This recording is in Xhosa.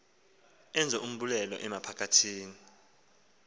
enze umbulelo amaphakathi